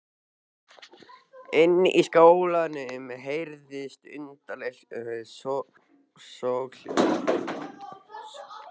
Inni í skálanum heyrðust undarleg soghljóð.